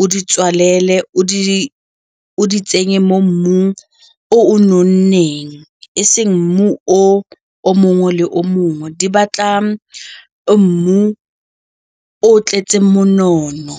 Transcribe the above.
o di tswalele, o di tsenye mo mmung o nonneng e seng mmu o mongwe le o mongwe di batla mmu o tletseng monono.